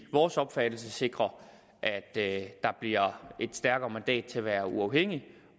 vores opfattelse sikre at der bliver et stærkere mandat til at være uafhængig